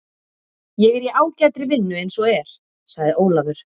Ég er í ágætri vinnu eins og er, sagði Ólafur.